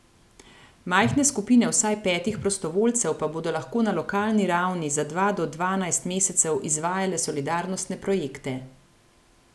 Majhne skupine vsaj petih prostovoljcev pa bodo lahko na lokalni ravni za dva do dvanajst mesecev izvajale solidarnostne projekte.